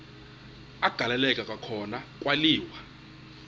agaleleka kwakhona kwaliwa